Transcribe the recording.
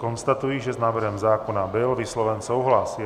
Konstatuji, že s návrhem zákona byl vysloven souhlas.